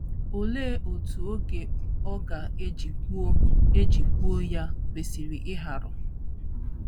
Olee otú oge ọ ga - eji gwuo eji gwuo ya kwesịrị ịharu?